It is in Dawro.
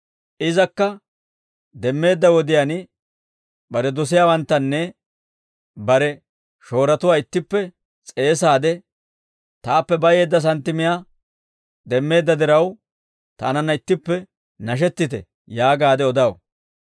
Izakka demmeedda wodiyaan bare dosiyaawanttanne bare shooratuwaa ittippe s'eesaade, ‹Taappe bayeedda santtimiyaa demmeedda diraw, taananna ittippe nashettite› yaagaade odaw.